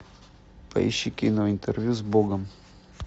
поищи кино интервью с богом